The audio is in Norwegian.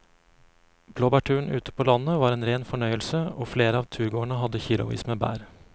Blåbærturen ute på landet var en rein fornøyelse og flere av turgåerene hadde kilosvis med bær.